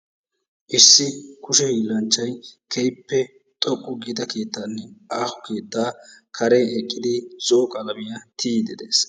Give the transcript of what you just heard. Issi kushee hiilanchchay keehippe xoqqu giida keettanne aaho keetta karen eqqidi zo'o qalamiya tiyyide de'ees.